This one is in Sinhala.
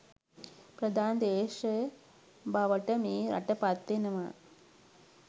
ප්‍රධාන දේශය බවට මේ රට පත් වෙනවා